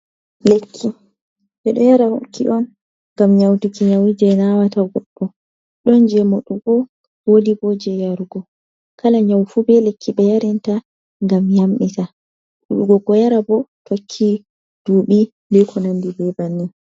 Lekki ɓe ɗo yaraki'on ngam nyauduki nyawu je nawata godɗo, ɗon je moɗugo wodi bo je yarugo kala nyaufu be lekki be yarinta gam yamɓita. Ɗuɗugo ko yara bo tokki duɓi eko nandi be bannin.